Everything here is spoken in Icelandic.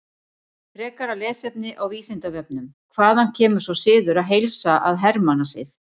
Frekara lesefni á Vísindavefnum: Hvaðan kemur sá siður að heilsa að hermannasið?